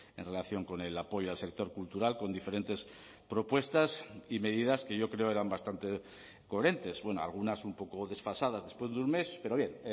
en relación con el apoyo al sector cultural con diferentes propuestas y medidas que yo creo eran bastante coherentes bueno algunas un poco desfasadas después de un mes pero bien